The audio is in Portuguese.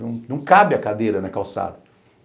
Não cabe a cadeira na calçada.